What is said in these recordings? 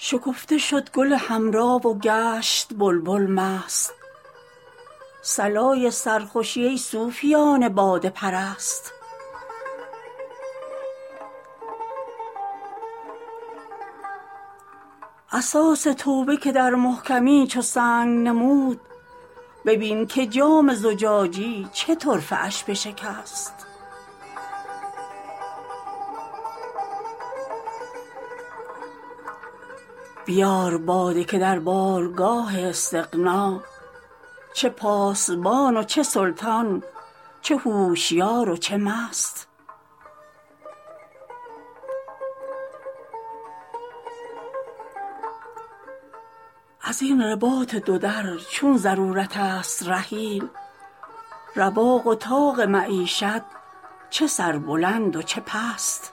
شکفته شد گل حمرا و گشت بلبل مست صلای سرخوشی ای صوفیان باده پرست اساس توبه که در محکمی چو سنگ نمود ببین که جام زجاجی چه طرفه اش بشکست بیار باده که در بارگاه استغنا چه پاسبان و چه سلطان چه هوشیار و چه مست از این رباط دو در چون ضرورت است رحیل رواق و طاق معیشت چه سربلند و چه پست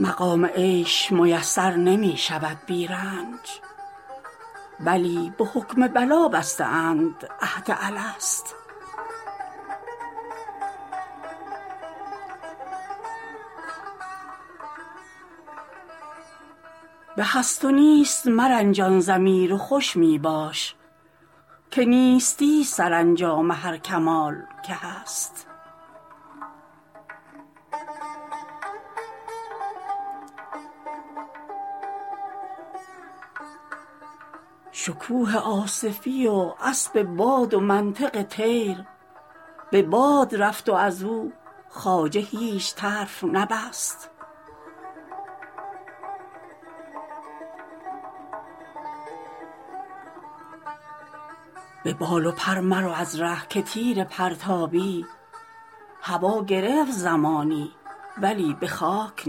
مقام عیش میسر نمی شود بی رنج بلی به حکم بلا بسته اند عهد الست به هست و نیست مرنجان ضمیر و خوش می باش که نیستی ست سرانجام هر کمال که هست شکوه آصفی و اسب باد و منطق طیر به باد رفت و از او خواجه هیچ طرف نبست به بال و پر مرو از ره که تیر پرتابی هوا گرفت زمانی ولی به خاک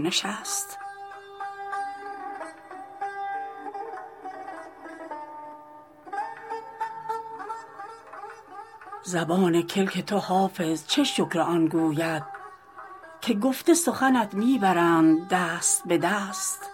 نشست زبان کلک تو حافظ چه شکر آن گوید که گفته سخنت می برند دست به دست